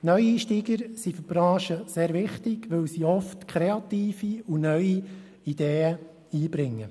Neueinsteiger sind in der Branche sehr wichtig, weil sie oft kreative und neue Ideen einbringen.